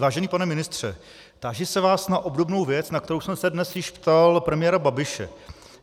Vážený pane ministře, táži se vás na obdobnou věc, na kterou jsem se dnes již ptal premiéra Babiše.